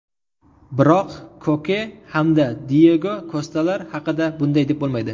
Biroq Koke hamda Diyego Kostalar haqida bunday deb bo‘lmaydi.